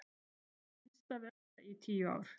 Minnsta velta í tíu ár